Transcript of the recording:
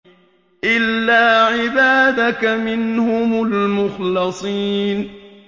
إِلَّا عِبَادَكَ مِنْهُمُ الْمُخْلَصِينَ